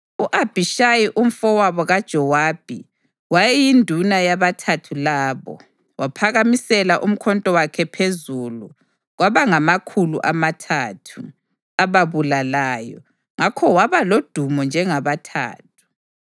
U-Abhishayi umfowabo kaJowabi wayeyinduna yabaThathu labo. Waphakamisela umkhonto wakhe phezu kwabangamakhulu amathathu, ababulalayo, ngakho waba lodumo njengabaThathu.